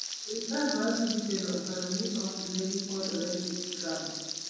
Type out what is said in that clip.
Sirkal mar Britain okwero ni ok ne gipondore gi Trump